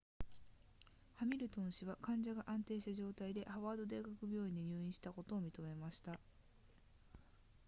ハミルトン氏は患者が安定した状態でハワード大学病院に入院したことを認めました